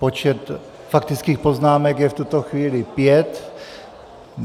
Počet faktických poznámek je v tuto chvíli pět.